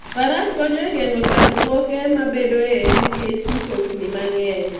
Faras konyo e geng'o chandruoge mabedoe nikech mtokni mang'eny.